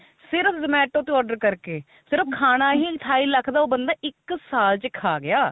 ਸਿਰਫ zomato ਤੇ order ਕਰਕੇ ਸਿਰਫ ਖਾਣਾ ਹੀ ਅਠਾਈ lakh ਦਾ ਉਹ ਬੰਦਾ ਇੱਕ ਸਾਲ ਚ ਖਾ ਗਿਆ